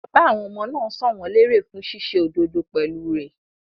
Bàbá àwọn ọmọ náà san wọ́n lérè fún ṣíṣe òdodo pẹ̀lú rẹ̀.